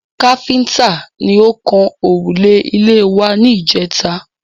Káfíntà ni ó kan òrùlé ilé wa ní ìjèta